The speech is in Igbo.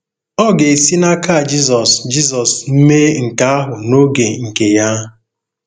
Ọ ga-esi n’aka Jizọs Jizọs mee nke ahụ n’oge nke Ya.